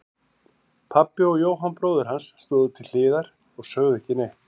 Pabbi og Jóhann bróðir hans stóðu til hliðar og sögðu ekki neitt.